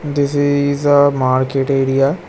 This is-s a market area.